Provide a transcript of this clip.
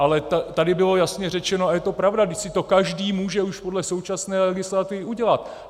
Ale tady bylo jasně řečeno, a je to pravda - vždyť si to každý může už podle současné legislativy udělat.